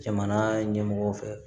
Jamana ɲɛmɔgɔw fɛ